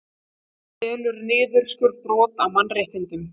Telur niðurskurð brot á mannréttindum